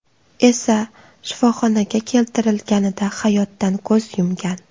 esa shifoxonaga keltirilganida hayotdan ko‘z yumgan.